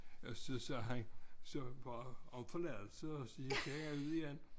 Og så sagde han så bare om forladelse og så gik han ud igen